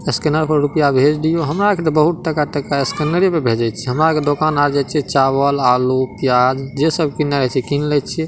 Scanner पे रुपैया भेज दियो हमरा के त बहुत टका-टक स्कैनर पे भेजे छै हमरा पे दुकान आ जाए छै चावल आलू प्याज जे सब किने के किन लेए छै।